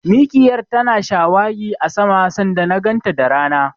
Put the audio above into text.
Mikiyar tana shawagi a sama sanda na ganta da rana.